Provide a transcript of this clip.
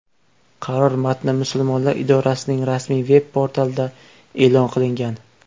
Qaror matni musulmonlar idorasining rasmiy veb portalida e’lon qilingan .